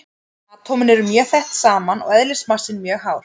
Atómin eru mjög þétt saman og eðlismassinn mjög hár.